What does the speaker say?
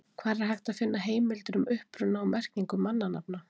Hvar er hægt að finna heimildir um uppruna og merkingu mannanafna?